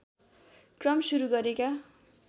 क्रम सुरु गरेका